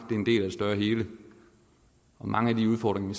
er større hele og mange af de udfordringer